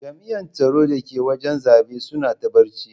Jami'an tsaro da ke wajen zabe suna ta barci.